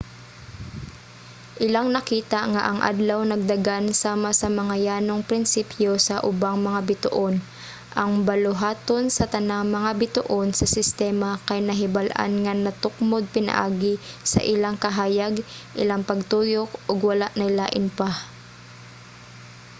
ilang nakita nga ang adlaw nagdagan sama sa mga yanong prinsipyo sa ubang mga bituon: ang buluhaton sa tanang mga bituon sa sistema kay nahibal-an nga natukmod pinaagi sa ilang kahayag ilang pagtuyok ug wala nay lain pa